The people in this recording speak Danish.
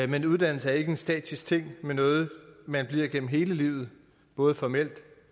men uddannelse er ikke en statisk ting men noget man bliver gennem hele livet både formelt